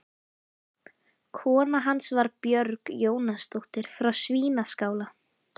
Kona hans var Björg Jónasdóttir frá Svínaskála.